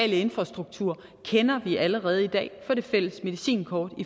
infrastruktur kender vi allerede i dag fra det fælles medicinkort